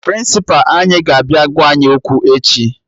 Prịnsịpa anyị ga-abịa gwa anyị okwu echi